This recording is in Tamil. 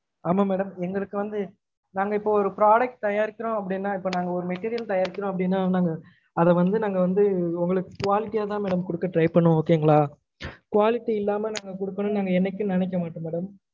ஆமா madam எங்கலுக்கு வந்து நாங்க இப்ப ஒரு product தயாரிக்கிரொம் அப்டினா இப்ப நாங்க ஒரு material தயாரிக்கிறொம் அப்டினா நாங்க அதவந்து நாங்க வந்து உங்களுக்கு quality யா தான் madam குடுக்க try பன்னுவொம் okay ங்கலா quality இல்லாம நாங்க குடுக்கனும் நாங்க என்னைக்கும் நெனைக்க மட்டொம் madam